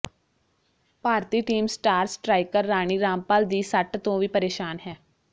ਭਾਰਤੀ team star striker Rani Rampal ਦੀ ਸੱਟ ਤੋਂ ਵੀ ਪਰੇਸ਼ਾਨ ਹੈ